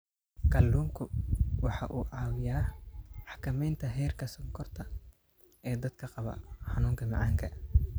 Kalluunku waxa uu caawiyaa xakamaynta heerka sonkorta ee dadka qaba xanuunka macaanka.